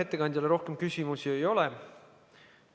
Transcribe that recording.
Ettekandjale rohkem küsimusi ei ole.